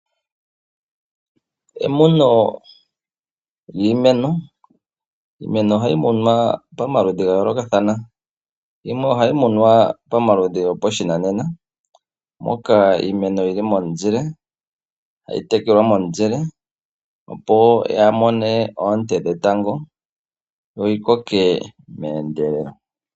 Iimeno ohayi munwa pamaludhi ga yoolokathana. Yimwe ohayi munwa pashinanena, moka iimeno yi li momuzile, tayi tekelelwa momuzile opo yaa ha mone oonte dhetango yo yi koke meendelelo.